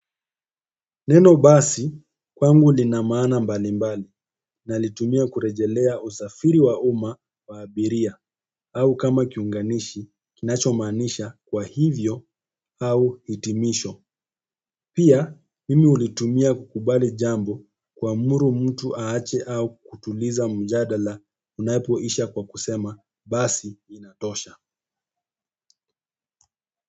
Neno basi kwangu linamaana mbalimbali na litumia kurejelea usafiri wauma waabiria au kama kiunganishi kinachomaanisha kwa hivyo au hitimisho. Pia mimi hulitumia kukubali jambo kuamuru mtu ahache au kutuliza mjadala unapoisha kwa kusema basi inatosha.